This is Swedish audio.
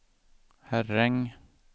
Herräng